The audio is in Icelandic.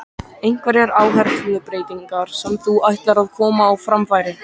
Einhverjar áherslubreytingar sem þú ætlar að koma á framfæri?